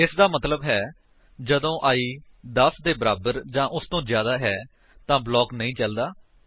ਇਸਦਾ ਮਤਲੱਬ ਹੈ ਜਦੋਂ i 10 ਦੇ ਬਰਾਬਰ ਜਾਂ ਉਸਤੋਂ ਜਿਆਦਾ ਹੈ ਤਾਂ ਬਲਾਕ ਨਹੀਂ ਚਲਦਾ ਹੈ